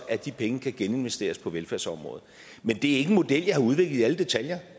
at de penge kan geninvesteres på velfærdsområdet men det er ikke en model jeg har udviklet i alle detaljer